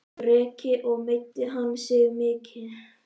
Breki: Og meiddi hann sig mikið?